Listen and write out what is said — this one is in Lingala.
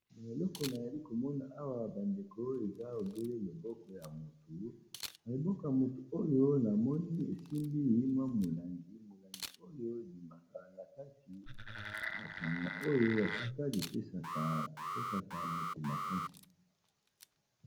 na eleko na yali komona awa bandeko oyo eza obele loboko ya motu na loboko motu oyo namoni esimbi ma molangi molangi oyo bimakalakasi masanga oyo ya sukali pesaka moto makasi